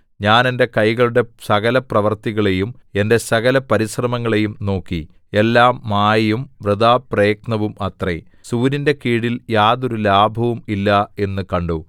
ഞാൻ എന്റെ കൈകളുടെ സകലപ്രവൃത്തികളെയും എന്റെ സകലപരിശ്രമങ്ങളെയും നോക്കി എല്ലാം മായയും വൃഥാപ്രയത്നവും അത്രേ സൂര്യന്റെ കീഴിൽ യാതൊരു ലാഭവും ഇല്ല എന്നു കണ്ടു